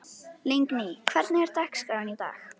Lingný, hvernig er dagskráin í dag?